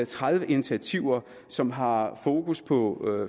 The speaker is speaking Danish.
tredive initiativer som har fokus på